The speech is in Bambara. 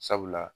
Sabula